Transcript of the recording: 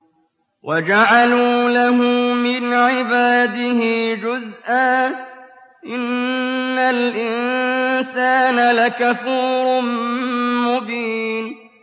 وَجَعَلُوا لَهُ مِنْ عِبَادِهِ جُزْءًا ۚ إِنَّ الْإِنسَانَ لَكَفُورٌ مُّبِينٌ